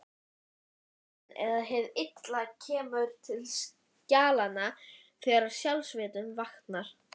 Syndin eða hið illa kemur til skjalanna þegar sjálfsvitundin vaknar.